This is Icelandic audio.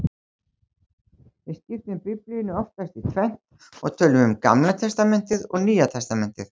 Við skiptum Biblíunni oftast í tvennt og tölum um Gamla testamentið og Nýja testamentið.